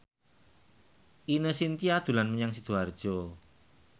Ine Shintya dolan menyang Sidoarjo